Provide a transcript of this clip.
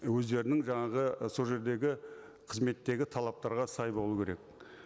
өздерінің жаңағы сол жердегі қызметтегі талаптарға сай болу керек